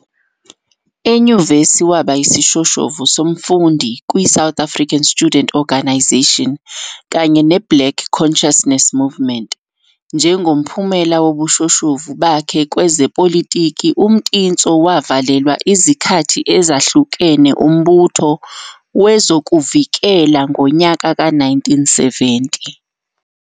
ENyuvesi waba yisishoshovu somfundi kwi South African Student Organisation kanye ne Black Consciousness Movement. Njengomphumela wobushoshovu bakhe kwezepolitiki, uMtintso wavalelwa izikhathi ezahlukene umbutho wezokuvikela ngonyaka ka 1970.